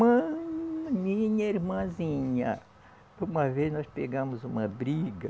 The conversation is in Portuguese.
Mãe. Minha irmãzinha, uma vez nós pegamos uma briga,